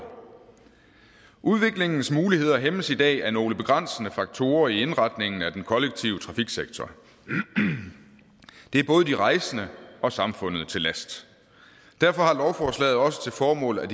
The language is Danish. udviklingens muligheder hæmmes i dag af nogle begrænsende faktorer i indretningen af den kollektive trafiksektor det er både de rejsende og samfundet til last derfor har lovforslaget også til formål at